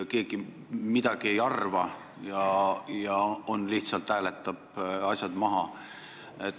Keegi mitte midagi ei arva ja lihtsalt hääletab asjad maha.